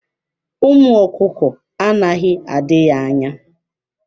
Ụmụ ọkụkọ anaghị adị ya anya.